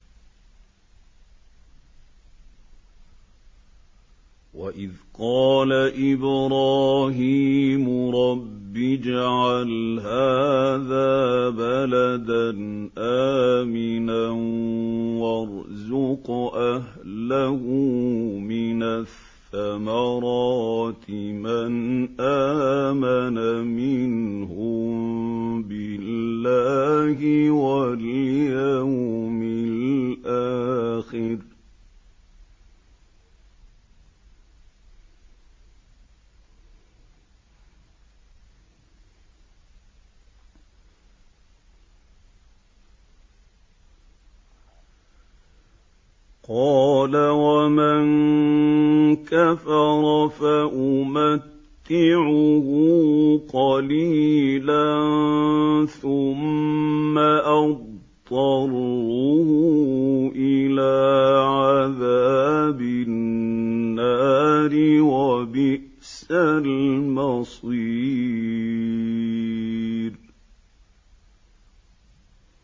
وَإِذْ قَالَ إِبْرَاهِيمُ رَبِّ اجْعَلْ هَٰذَا بَلَدًا آمِنًا وَارْزُقْ أَهْلَهُ مِنَ الثَّمَرَاتِ مَنْ آمَنَ مِنْهُم بِاللَّهِ وَالْيَوْمِ الْآخِرِ ۖ قَالَ وَمَن كَفَرَ فَأُمَتِّعُهُ قَلِيلًا ثُمَّ أَضْطَرُّهُ إِلَىٰ عَذَابِ النَّارِ ۖ وَبِئْسَ الْمَصِيرُ